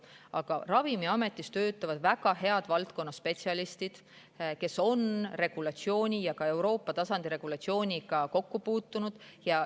Aga Ravimiametis töötavad väga head valdkonnaspetsialistid, kes on regulatsiooniga ja ka Euroopa tasandi regulatsiooniga kokku puutunud.